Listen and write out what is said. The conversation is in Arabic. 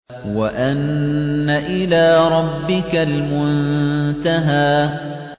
وَأَنَّ إِلَىٰ رَبِّكَ الْمُنتَهَىٰ